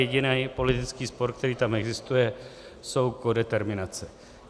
Jediný politický spor, který tam existuje, jsou kodeterminace.